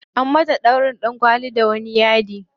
Anyi mata ɗaurin ɗankwali da wani yadi.